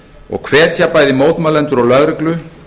og hvetja bæði mótmælendur og lögreglu